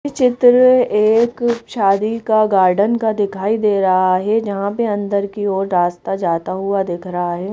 इस चित्र में एक शादी का गार्डन का दिखाई दे रहा है जहां पे अंदर की ओर रास्ता जाता हुआ दिख रहा है।